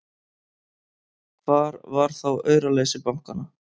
Hvar var þá auraleysi bankanna!